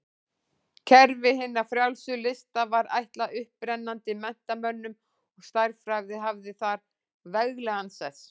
Kerfi hinna frjálsu lista var ætlað upprennandi menntamönnum og stærðfræði hafði þar veglegan sess.